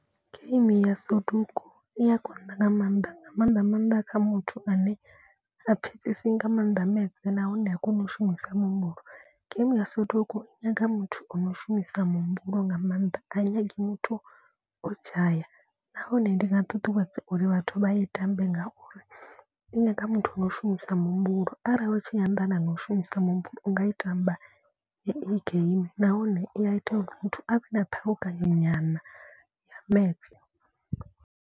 Game ya soduku i a konḓa nga maanḓa nga maanḓa maanḓa kha muthu ane ha pfhesesi nga mannḓa maths nahone ha koni u shumisa muhumbulo. Game ya soduku i nyaga muthu ono shumisa muhumbulo nga maanḓa. A i nyagi muthu o dzhaya nahone ndi nga ṱuṱuwedza uri vhathu vha i tambe ngauri i nyaga muthu na u shumisa muhumbulo. Arali vha tshi anḓana na u shumisa muhumbulo u nga i tamba hei game nahone i a ita uri muthu a vhe na ṱhalukanyo nyana ya maths.